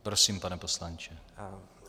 Prosím, pane poslanče.